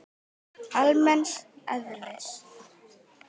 almenns eðlis.